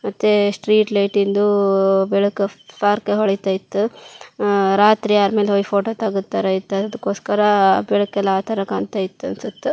ಮತ್ತೇ ಸ್ಟ್ರೀಟ್ ಲೈಟಿಂದೂೂೂ ಬೆಳಕು ಫ್ ಫಾರ್ಕೆ ಹೊಳಿತೈತು ಹಾಂ ರಾತ್ರಿ ಆರಮೇಲೆ ಒಯ್ ಫೋಟೋ ತೆಗೆತರೆ ಇತರಕೊಸ್ಕರಾ ಬೆಳಕೆಲ್ಲಾ ಆತರ ಕಾಣ್ತಯಿತ್ತು ಅನ್ಸುತ್.